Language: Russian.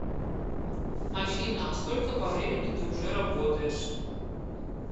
афина а сколько по времени ты уже работаешь